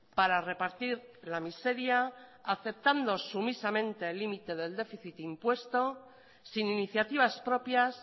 para repartir la miseria aceptando sumisamente el límite del déficit impuesto sin iniciativas propias